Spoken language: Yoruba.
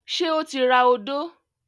Ṣé ó ti ra odó?